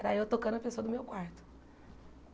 Era eu tocando a pessoa do meu quarto.